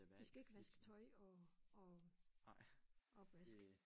Vi skal ikke vaske tøj og og opvask